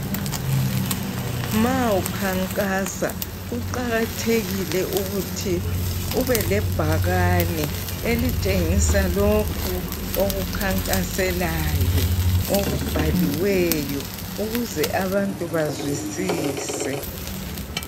Ma ukhankasa kuqakathekile ukuthi ube lebhakane elitshengisa lokhu okukhankaselayo okubhaliweyo ukuze abantu bazwisise